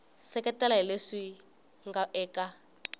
seketela hi leswi nga eka